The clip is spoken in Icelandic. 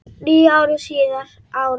Níu árum síðar, árið